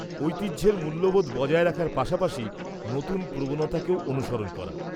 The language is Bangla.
ঐতিহ্যের মূল্যবোধ বজায় রাখার পাশাপাশি নতুন প্রবণতাকেও অনুসরণ করা।